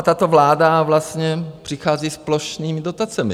A tato vláda vlastně přichází s plošnými dotacemi.